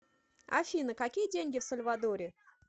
афина какие деньги в сальвадоре